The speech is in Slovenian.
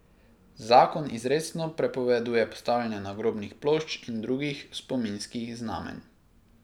Zakon izrecno prepoveduje postavljanje nagrobnih plošč in drugih spominskih znamenj.